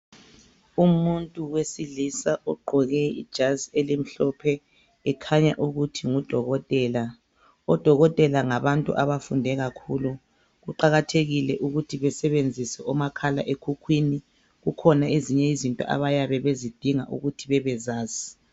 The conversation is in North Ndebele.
Umuntu wesilisa ogqoke ijazi elimhlophe ekhanya ukuthi ngudokotela. Odokotela ngabantu abafunde kakhulu kuqakathekile ukuthi besebenzisa omakhalekhukhwini kukhona ezinye izinto abayabe bezidinga ukuthi babezazi.